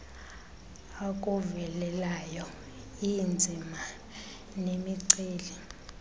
akuvelelayo iinzima nemiceli